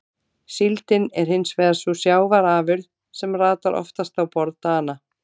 Síldin er hins vegar sú sjávarafurð sem ratar oftast á borð Dana.